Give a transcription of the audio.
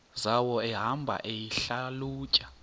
zawo ehamba eyihlalutya